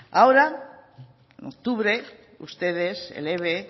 ahora en octubre ustedes el eve